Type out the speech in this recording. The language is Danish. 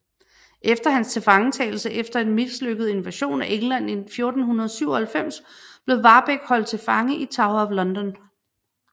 Efter hans tilfangetagelse efter en mislykket invasion af England i 1497 blev Warbeck holdt til fange i Tower of London